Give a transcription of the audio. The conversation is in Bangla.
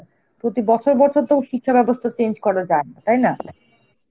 প্রতি বছর বছর তো শিক্ষাব্যবস্থা change করা যায় না, তাই না?